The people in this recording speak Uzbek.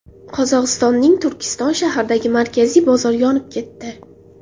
Qozog‘istonning Turkiston shahridagi markaziy bozor yonib ketdi.